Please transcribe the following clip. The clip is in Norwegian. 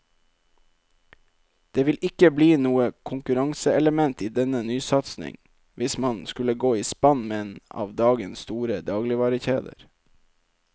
Det vil ikke bli noe konkurranseelement i denne nysatsing hvis man skulle gå i spann med en av dagens store dagligvarekjeder.